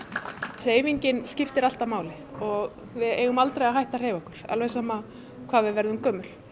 hreyfingin skiptir alltaf máli og við eigum aldrei að hætta að hreyfa okkur alveg sama hvað við verðum gömul